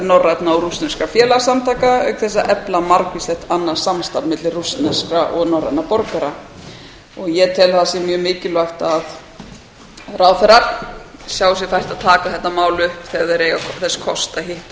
norrænna og rússneskra félagasamtaka auk þess að efla margvíslegt annað samstarf milli rússneskra og norrænna borgara ég tel að það sé mjög mikilvægt að ráðherrar sjái sér fært að taka þetta mál upp þegar þeir eiga þess kost að hitta